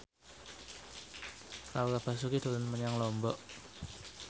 Laura Basuki dolan menyang Lombok